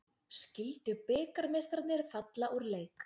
Skildu bikarmeistararnir falla úr leik